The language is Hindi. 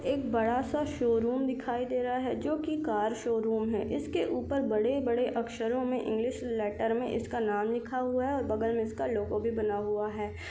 एक बड़ा -सा शोरूम दिखाए दे रहा है जोकि कार शोरूम है इसके ऊपर बड़े- बड़े अक्षरों में इंग्लिश लेटर में इसका नाम लिखा हुआ है और बगल में इसका लोगो भी बना हुआ हैं।